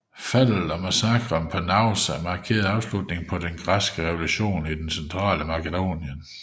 Faldet og massakren på Naousa markerede afslutningen på den græske revolution i det centrale Makedonien